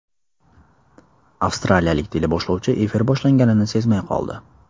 Avstraliyalik teleboshlovchi efir boshlanganini sezmay qoldi.